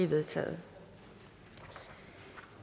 vedtaget